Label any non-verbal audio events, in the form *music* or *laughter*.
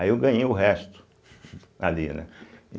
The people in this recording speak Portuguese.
Aí eu ganhei o resto, *laughs* ali, né?